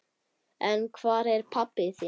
En hvar er pabbi þinn?